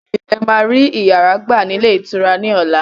Bẹ́ẹ̀ni, ẹ máa rí yàrá gbà ní ilé ìtura ni ọ̀la.